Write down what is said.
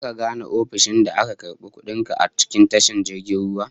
Zaka gane ofishin da aka karbi kudin ka a cikin tashar jirgin ruwan?